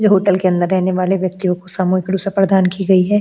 जो होटल के अंदर रहने वाले व्यक्तियों को सामूहिक रुषा प्रदान की गई है।